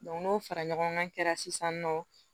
n'o fara ɲɔgɔn kan sisan nɔ